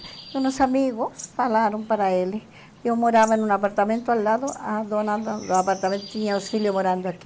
E uns amigos falaram para ele, eu morava num apartamento ao lado, a dona do do apartamento tinha os filhos morando aqui.